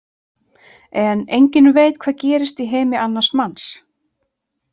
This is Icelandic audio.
En enginn veit hvað gerist í heimi annars manns.